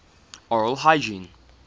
oral hygiene